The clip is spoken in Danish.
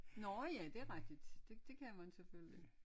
Nårh ja det er rigtigt det det kan man selvfølgelig